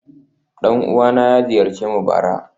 Dan uwana ya ziyarce mu bara